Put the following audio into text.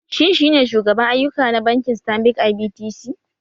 Shin shi ne shugaban ayyuka na bankin Stanbic IBTC?